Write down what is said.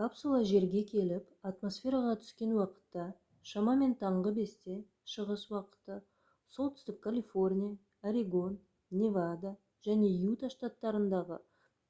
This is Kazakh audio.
капсула жерге келіп атмосфераға түскен уақытта шамамен таңғы 5-те шығыс уақыты солтүстік калифорния орегон невада және юта штаттарындағы